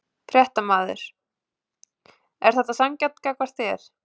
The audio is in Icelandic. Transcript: Fréttamaður: Er þetta sanngjarnt gagnvart þér?